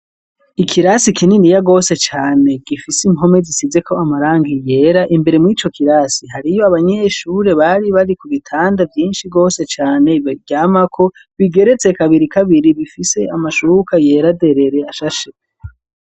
Ikirasi, kininiya gose cane, gifise impome, zisizeko amarangi yera; imbere mw'ico kirasi, hariyo abanyeshure, bari, bari ku bitanda, vyinshi gose cane, baryamako, bigeretse kabiri kabiri, bifise amashuka, yera derere, ashashe.